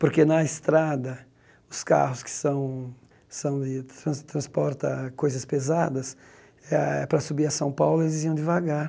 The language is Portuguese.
Porque na estrada, os carros que são são de... tras transporta coisas pesadas eh, para subir a São Paulo, eles iam devagar.